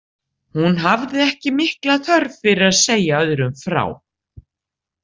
Hún hafði ekki mikla þörf fyrir að segja öðrum frá.